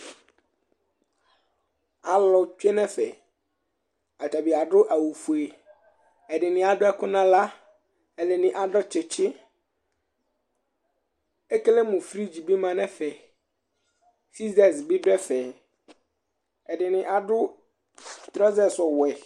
Alʋ tsue nʋ ɛfɛ Atanɩ adʋ awʋfue Ɛdɩnɩ adʋ ɛkʋ nʋ aɣla Ɛdɩnɩ adʋ tsɩtsɩ Ekele mʋ frigi bɩ ma nʋ ɛfɛ Sizɛz bɩ dʋ ɛfɛ Ɛdɩnɩ adʋ trɔzɛs ɔwɛ